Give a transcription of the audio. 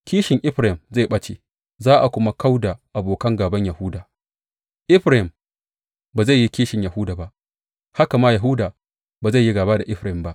Kishin Efraim zai ɓace, za a kuma kau da abokan gāban Yahuda; Efraim ba zai yi kishin Yahuda ba, haka ma Yahuda ba zai yi gāba da Efraim ba.